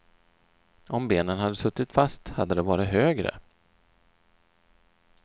Om benen hade suttit fast hade det varit högre.